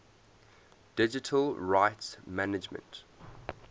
digital rights management